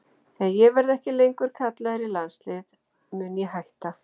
Þegar ég verði ekki lengur kallaður í landsliðið mun ég hætta.